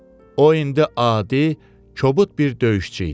O indi adi, kobud bir döyüşçü idi.